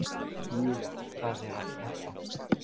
Júlína, hvað er að frétta?